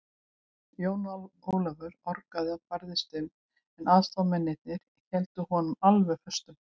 Jón Ólafur orgaði og barðist um, en aðstoðarmennirnir héldu honum alveg föstum.